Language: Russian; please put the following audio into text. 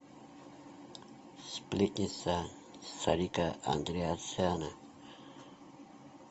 сплетница сарика андреасяна